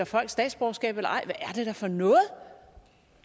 folk statsborgerskab eller ej er det da for noget